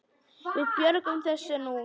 Við björgum þessu nú.